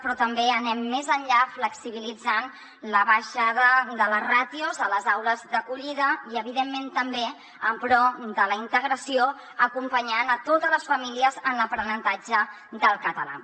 però també anem més enllà flexibilitzant la baixada de les ràtios a les aules d’acollida i evidentment també en pro de la integració acompanyant totes les famílies en l’aprenentatge del català